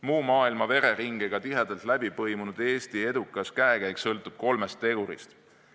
Muu maailma vereringega tihedalt läbipõimunud Eesti edukas käekäik sõltub kolmest tegurist.